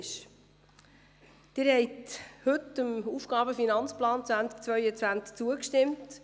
Sie haben heute dem Aufgaben- und Finanzplan (AFP) 2020–2022 zugestimmt.